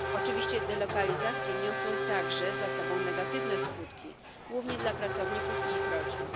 Oczywiście delokalizacje niosą także za sobą negatywne skutki, głównie dla pracowników i ich rodzin.